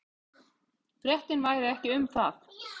Fréttin væri ekki um það.